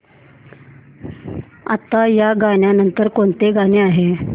आता या नंतर कोणतं गाणं आहे